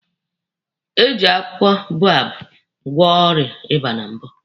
Eji akwụkwọ boababụ gwọ ọrịa ịba na mbụ